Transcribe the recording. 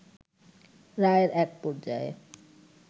রায়ের এক পর্যায়ে